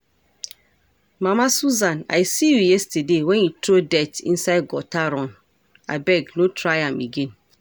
Mama Susan I see you yesterday wen you throw dirt inside gutter run, abeg no try am again